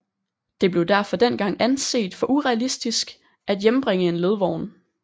Det blev derfor dengang anset for urealistisk at hjembringe en ledvogn